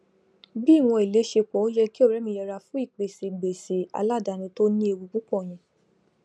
bí ìwòn èlé se pọ o yẹ kí ọrẹ mí yẹra fún ìpèsè gbèsè alàdáni tó ní ewu púpọ yẹn